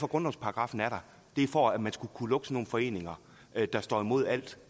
grundlovsparagraffen er der det er for at man skal kunne lukke sådan nogle foreninger der står imod alt